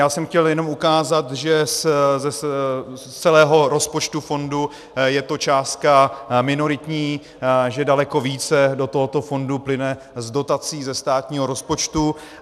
Já jsem chtěl jenom ukázat, že z celého rozpočtu fondu je to částka minoritní, že daleko více do tohoto fondu plyne z dotací ze státního rozpočtu.